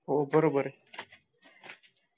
हो बरोबरय